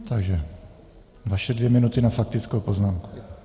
Takže vaše dvě minuty na faktickou poznámku.